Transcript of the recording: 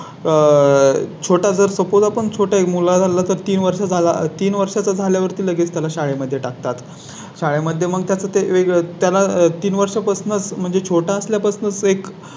आह आह किंवा आह छोटा जर Suppose आपण छोटा मुलगा झाला तर तीन वर्षा ला तीन वर्षांचा झाल्यावर ती लगेच त्याला शाळे मध्ये टाकतात. शाळे मध्ये मग त्याचे वेगळे त्याला तीन वर्षा पासूनच म्हणजे छोटा असल्या पासूनच एक